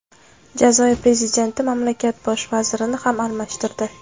Jazoir prezidenti mamlakat bosh vazirini ham almashtirdi.